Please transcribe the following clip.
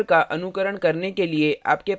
इस tutorial का अनुकरण करने के लिए आपके पास होना चाहिए